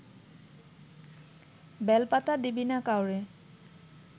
বেলপাতা দিবি না কাউরে